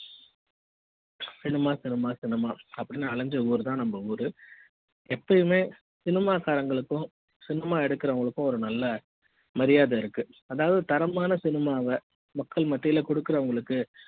cinema cinema cinema அப்படின்னு அலைஞ்ச ஊரு தான் நம்ம ஊரு எப்பவுமே cinema காரர்களுக்கும் cinema எடுக்குறவங்களுக்கும் நல்ல மரியாதை இருக்கு அதாவது தரமான cinema வ மக்கள் மத்தியில குடுக்கிறவங்களுக்கு